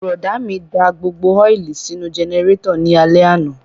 Bùrọ̀dá mi da gbogbo ọ́ìlì sínú jẹnẹrétọ̀ ní alẹ́ àná